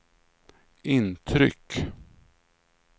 intryck